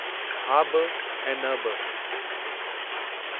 हा बि ऐं न बि!